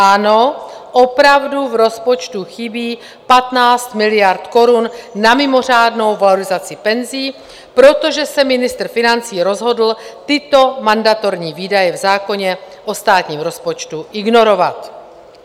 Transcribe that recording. Ano, opravdu v rozpočtu chybí 15 miliard korun na mimořádnou valorizaci penzí, protože se ministr financí rozhodl tyto mandatorní výdaje v zákoně o státním rozpočtu ignorovat.